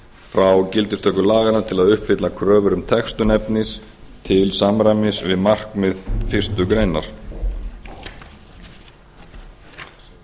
frá gildistöku laganna til að uppfylla kröfur um textun efnis til samræmis við markmið fyrstu grein